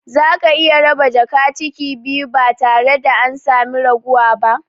Zaka iya raba jaka ciki biyu ba tare da an sami raguwa ba